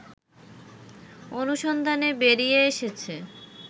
অনুসন্ধানে বেরিয়ে এসেছে